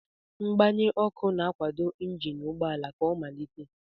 Mgbanye ọkụ na-akwado injin ụgbọ ala ka ọ malite.